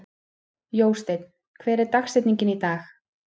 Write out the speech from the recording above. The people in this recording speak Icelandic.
Jósteinn, hver er dagsetningin í dag?